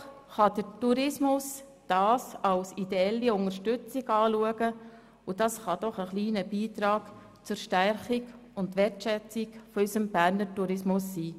Doch der Tourismus kann das als ideelle Unterstützung betrachten, und es kann ein kleiner Beitrag zur Stärkung und Wertschätzung für unseren Berner Tourismus sein.